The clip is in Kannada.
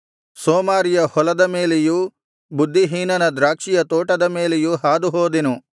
ಸೋಮಾರಿಯ ಹೊಲದ ಮೇಲೆಯೂ ಬುದ್ಧಿಹೀನನ ದ್ರಾಕ್ಷಿಯ ತೋಟದ ಮೇಲೆಯೂ ಹಾದು ಹೋದೆನು